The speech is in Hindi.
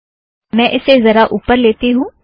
मैं इसे ज़रासा ऊपर लेती हूँ